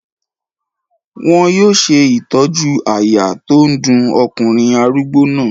Wọn yóò ṣe ìtọ́jú àyà tó ń dun ọkùnrin arúgbó náà.